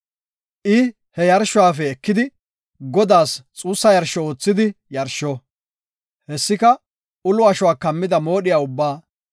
I he yarshuwafe ekidi Godaas xuussa yarsho oothidi yarsho; hessika ulo ashuwa kammida moodhiya ubbaa,